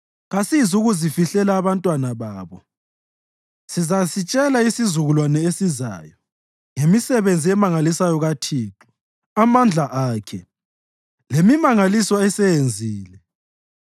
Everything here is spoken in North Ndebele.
Kasizukuzifihlela abantwana babo; sizasitshela isizukulwane esizayo ngemisebenzi emangalisayo kaThixo, amandla akhe, lemimangaliso aseyenzile.